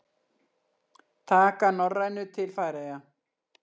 Taka Norrænu til Færeyja?